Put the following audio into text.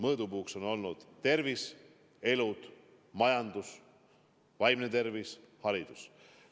Mõõdupuuks on olnud tervis, elud, majandus, vaimne tervis, haridus.